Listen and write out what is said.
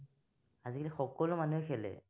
আজিকালি সকলো মানুহে খেলে।